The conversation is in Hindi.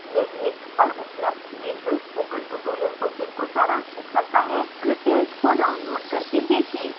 निम्न लिंक पर उपलब्ध वीडीयो स्पोकन ट्यूटोरियल प्रोजेक्ट को सारांशित करता है